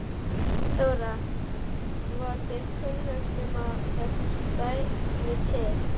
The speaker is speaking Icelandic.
Þóra: Var þér kunnugt um að þetta stæði til?